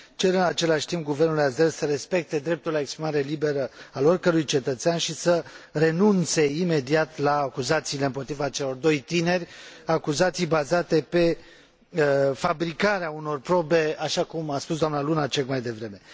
Cer în același timp guvernului azer să respecte dreptul la exprimare liberă al oricărui cetățean și să renunțe imediat la acuzațiile împotriva celor doi tineri, acuzații bazate pe fabricarea unor probe, așa cum a spus dna Lunacek mai devreme.